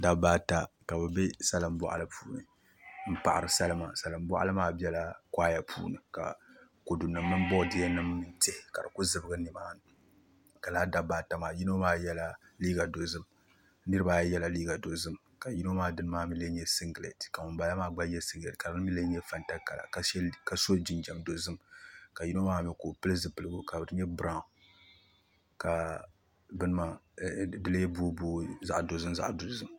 Dabba ata ka bi bɛ salin boɣali puuni n paɣari salima salin boɣali maa biɛla koɣaya puuni ka kodu nim ni boodiyɛ nim ni tihi ka di ku zibigi nimaani ka laa dabba ata maa niraba ayi yɛla liiga dozim ka yino maa dini maa mii lee nyɛ singirɛti ka ŋunbala maa gba yɛ singirɛti ka di mii lee nyɛ fanta kala ka so jinjɛm dozim ka yimo maa mii ka o pili zipiligu ka di nyɛ biraawn ka di lee booi booi zaɣ dozim zaɣ dozim